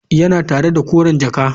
Tana tare da koren jakar.